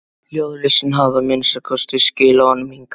Ljóðlistin hafði að minnsta kosti skilað honum hingað.